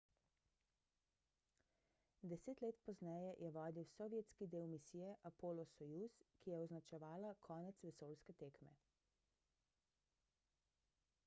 deset let pozneje je vodil sovjetski del misije apollo-soyuz ki je označevala konec vesoljske tekme